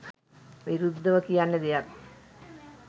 විරුද්ධව කියන්න දෙයක්